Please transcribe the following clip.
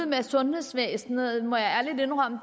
med sundhedsvæsenet må jeg ærligt indrømme